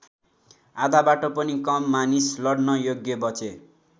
आधाबाट पनि कम मानिस लड्न योग्य बचे।